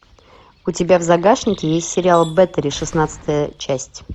у тебя в загашнике есть сериал бэттери шестнадцатая часть